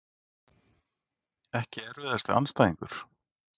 Ekki erfiðasti andstæðingur??